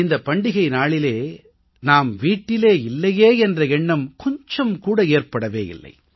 இந்தப் பண்டிகை நாளிலே நாம் வீட்டில் இல்லையே என்ற எண்ணம் கொஞ்சம் கூட ஏற்படவே இல்லை